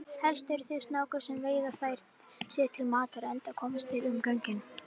Helst eru það snákar sem veiða þær sér til matar enda komast þeir um göngin.